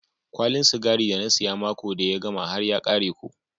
Kwalin sigari da na siya mako da ya gama har ya kare ko.